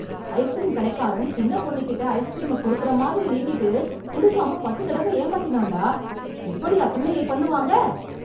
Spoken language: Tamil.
ஐஸ்க்ரீம் கடைக்காரன், சின்ன பொண்ணுகிட்ட ஐஸ்க்ரீமை குடுக்கற மாதிரி நீட்டிட்டு, குடுக்காம பத்து தடவை ஏமாத்தினான்டா... இப்படியா பிள்ளையை பண்ணுவாங்க?